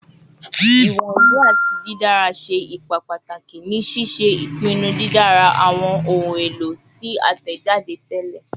Iwọn iwe ati didara ṣe ipa pataki ni ṣiṣe ipinnu didara awọn ohun elo ti a tẹjade tẹlẹ